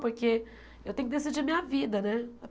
Porque eu tenho que decidir a minha vida, né?